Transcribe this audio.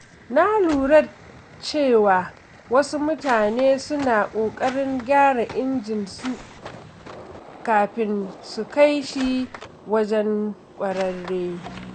Na lura cewa wasu mutane suna ƙoƙarin gyara injin su kafin su kai shi wajen ƙwararre.